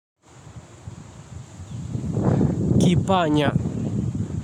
Kipanya.